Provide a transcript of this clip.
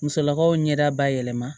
Musolakaw ɲɛda bayɛlɛma